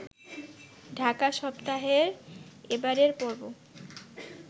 ঢাকা সপ্তাহের এবারের পর্ব